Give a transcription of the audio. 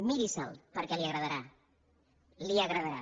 miri·se·la perquè li agradarà li agra·darà